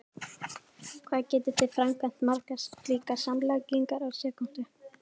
Hvað getið þið framkvæmt margar slíkar samlagningar á sekúndu?!